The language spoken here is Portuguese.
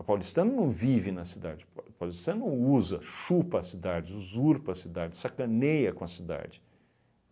O paulistano não vive na cidade, o pa paulistano usa, chupa a cidade, usurpa a cidade, sacaneia com a cidade.